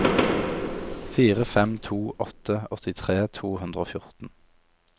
fire fem to åtte åttitre to hundre og fjorten